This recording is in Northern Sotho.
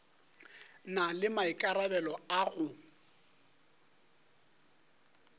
na le maikarabelo a go